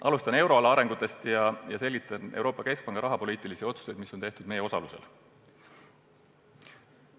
Alustan euroala arengutest ja selgitan Euroopa Keskpanga rahapoliitilisi otsuseid, mis on tehtud meie osalusel.